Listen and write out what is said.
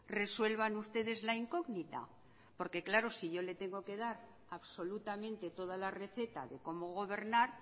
resuelvan ustedes la incógnita porque claro si yo le tengo que dar absolutamente toda la receta de cómo gobernar